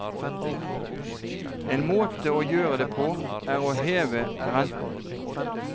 En måte å gjøre det på, er å heve renten.